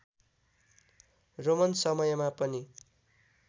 Roman समयमा पनि